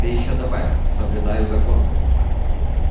ты ещё добавь соблюдаю закон